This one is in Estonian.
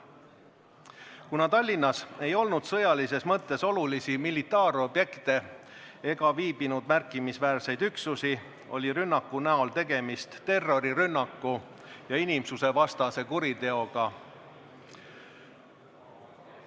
Kuna Tallinnas ei olnud olulisi militaarobjekte ega viibinud märkimisväärseid üksusi, oli rünnaku puhul tegemist terrorirünnaku ja inimsusevastase kuriteoga.